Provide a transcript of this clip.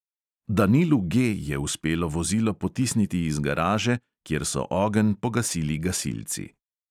Danilu G je uspelo vozilo potisniti iz garaže, kjer so ogenj pogasili gasilci.